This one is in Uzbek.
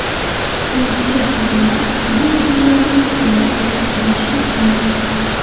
Sportchi qizlar bu pullarni to‘lashdan bosh tortgan.